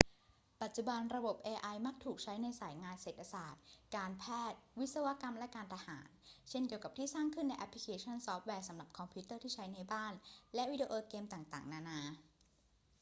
ปัจจุบัน ระบบ ai มักถูกใช้ในสายงานเศรษฐศาสตร์ การแพทย์ วิศวกรรม และการทหาร เช่นเดียวกับที่สร้างขึ้นในแอปพลิเคชันซอฟต์แวร์สำหรับคอมพิวเตอร์ที่ใช้ในบ้านและวิดีโอเกมต่างๆ นานา